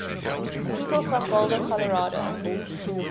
people from boulder colorado